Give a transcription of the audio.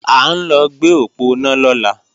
À ń lọ gbé òponá lọ́la